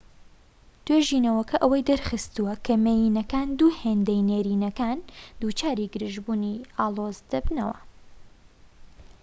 توێژینەوەکە ئەوەی دەرخستووە کە مێینەکان دوو هێندەی نێرینەکان دووچاری گرژبوونی ئاڵۆزدەبن